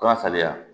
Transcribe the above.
Kaba sariya